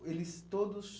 eles todos